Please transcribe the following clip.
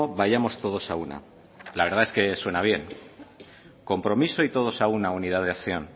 vayamos todos a una la verdad es que suena bien compromiso y todos a una unidad de acción